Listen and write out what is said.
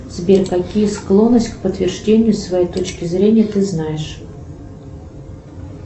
сбер какие склонности к подтверждению своей точки зрения ты знаешь